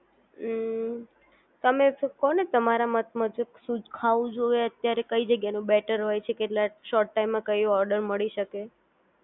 હમ્મ તમે કોને તમારા મત મુજબ શું ખાવું જોઈએ અત્યારે કઈ જગ્યાની બેટર હોય છે કેટલા શોર્ટ ટાઇમમાં કયો ઓર્ડર મળી શકે